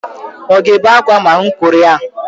Ọ ga-ebe akwa ma mụ kuru ya?